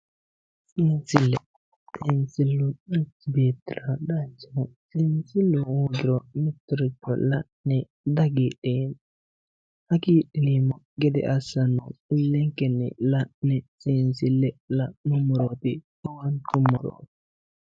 Seensile, seensilu manchi beettira danchaho ,seensilu hoogiro lowontanni dihagiidheemmo, hagiidheemmokki gede assanohu ilenkenni la'ne seensile la'nuummoroti owaantuummoro.